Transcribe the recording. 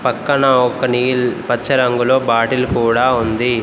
పక్కన ఒక నీల్ పచ్చ రంగులో బాటిల్ కూడా ఉంది.